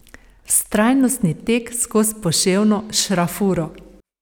Vztrajnostni tek skoz poševno šrafuro.